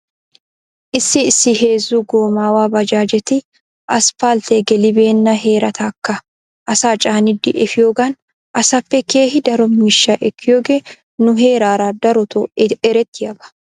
Issi issi heezu goomaawa baajaajeti asppaltee gelibeenna heeratakka asaa caanidi efiyoogan asaappe keehi daro miishsha ekkiyooge nu heeraara daroto erettiyaaba.